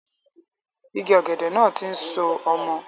Igi ọ̀gẹ̀dẹ̀ náà tí ń so ọmọ